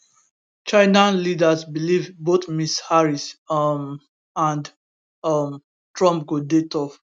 china leaders believe both ms harris um and um trump go dey tough